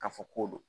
K'a fɔ ko don